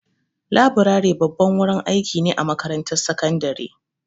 Laburare babban wurin aiki ne a makarantar sakandare.